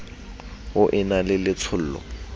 o e na le letshollo